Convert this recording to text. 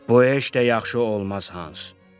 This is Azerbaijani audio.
Bu işdə də yaxşı olmaz Hans.